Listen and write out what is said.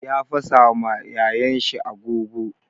Ya fasa ma yayan shi agogo.